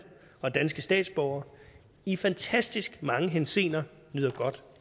og danske statsborgere i fantastisk mange henseender nyder godt